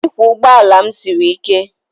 Ịkwọ ụgbọ ala m siri ike